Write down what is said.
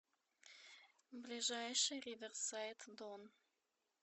ближайший риверсайд дон